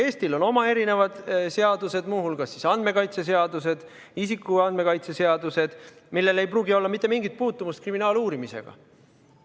Eestil on oma seadused, muu hulgas andmekaitseseadus, isikuandmete kaitse seadus, millel ei pruugi olla mitte mingit puutumust kriminaaluurimisega.